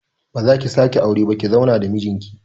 Ba zaki sake aure ba ki zauna da mijin ki